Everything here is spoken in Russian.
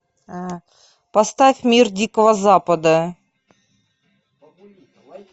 поставь мир дикого запада